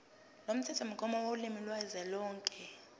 lomthethomgomo wolimi kazwelonke